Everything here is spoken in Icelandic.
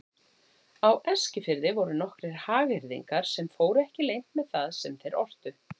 Á Eskifirði voru nokkrir hagyrðingar sem fóru ekki leynt með það sem þeir ortu.